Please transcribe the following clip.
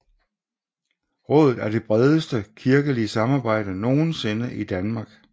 Rådet er det bredeste kirkelige samarbejde nogensinde i Danmark